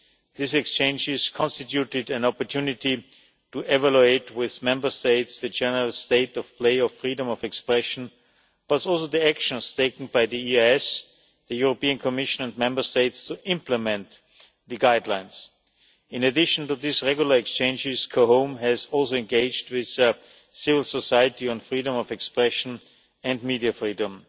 These exchanges constituted an opportunity to evaluate with Member States the general state of play of freedom of expression but also the actions taken by the EEAS, the Commission and Member States to implement the Guidelines. In addition to these regular exchanges, COHOM has also engaged with civil society on freedom of expression and media freedom.